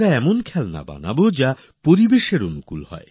এমন খেলনা তৈরী করি যা নাকি পরিবেশবান্ধবও বটে